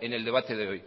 en el debate de hoy